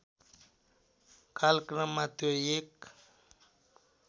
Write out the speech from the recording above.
कालक्रममा त्यो एक